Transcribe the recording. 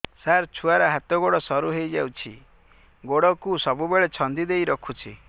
ସାର ଛୁଆର ହାତ ଗୋଡ ସରୁ ହେଇ ଯାଉଛି ଗୋଡ କୁ ସବୁବେଳେ ଛନ୍ଦିଦେଇ ରଖୁଛି